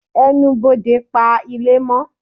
Ẹnubodè pa ile amò